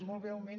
molt breument